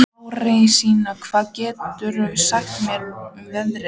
Lárensína, hvað geturðu sagt mér um veðrið?